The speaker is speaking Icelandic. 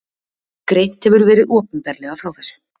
Greint hefur verið opinberlega frá þessu